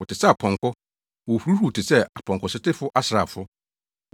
Wɔte sɛ apɔnkɔ. Wohuruhuruw te sɛ apɔnkɔsotefo asraafo.